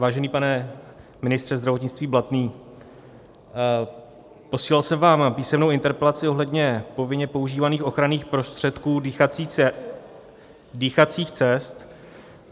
Vážený pane ministře zdravotnictví Blatný, posílal jsem vám písemnou interpelaci ohledně povinně používaných ochranných prostředků dýchacích cest.